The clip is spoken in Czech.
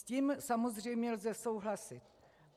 S tím samozřejmě lze souhlasit.